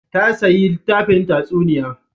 Ya sayi littafin tatsuniya.